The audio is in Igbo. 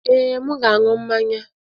Ee, m ga-aṅụ mmanya.